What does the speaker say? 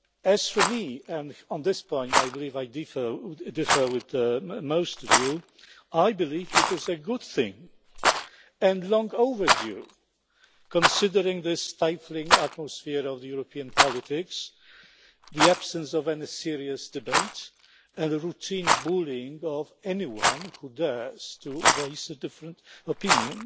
As for me and on this point I believe I differ from most of you I believe it is a good thing and long overdue, considering the stifling atmosphere of European politics, the absence of any serious debate, and the routine bullying of anyone who dares to voice a different opinion.